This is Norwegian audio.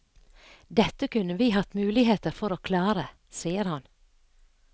Dette kunne vi hatt muligheter for å klare, sier han.